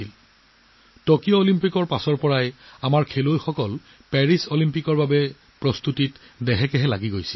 Tokyo অলিম্পিকৰ পিছৰে পৰা আমাৰ খেলুৱৈসকলে পেৰিছ অলিম্পিকৰ প্ৰস্তুতিৰ বাবে নিয়োজিত হৈ আছিল